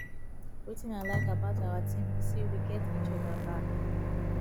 wetin i like about our team be say we get each other back